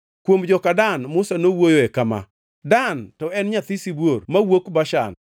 Kuom joka Dan, Musa nowuoyoe kama: “Dan to en nyathi sibuor mawuok Bashan.”